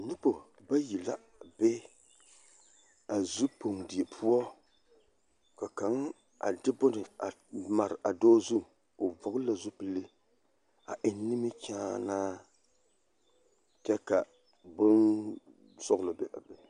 Nobɔ bayi la a be zupoŋ die poɔ ka kaŋ a de bone mare a dɔɔ zu o vɔɡele la zupili a eŋ nimikyaanaa kyɛ ka bonsɔɡelɔ be a be.